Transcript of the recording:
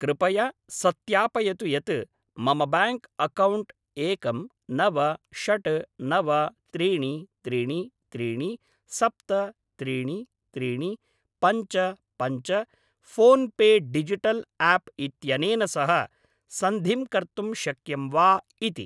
कृपया सत्यापयतु यत् मम ब्याङ्क् अक्कौण्ट् एकं नव षड् नव त्रीणि त्रीणि त्रीणि सप्त त्रीणि त्रीणि पञ्च पञ्च फोन्पे डिजिटल् आप् इत्यनेन सह सन्धिं कर्तुं शक्यं वा इति।